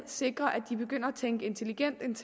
sikre at de begynder at tænke intelligent